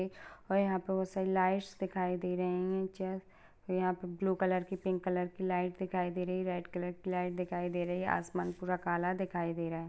और यहाँ पर वो सभी लाइट्स दिखाई दे रहीं हैं | यहाँ पर ब्लू कलर की पिंक कलर की लाइट दिखाई दे रही हैं। रेड कलर की लाइट दिखाई दे रही है आसमान पूरा काला दिखाई दे रहा है।